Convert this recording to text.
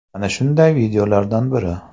Mana shunday videolardan biri.